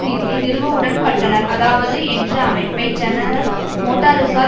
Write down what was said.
நிதியை நிறுவ உடன்பட்டனர் அதாவது என்ற அமைப்பை ஜெனரல் மோட்டாரஸால்